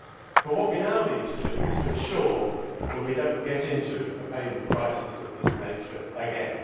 But what we now need to ensure is that we do not get into a payment crisis of this nature again.